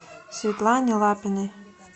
светлане лапиной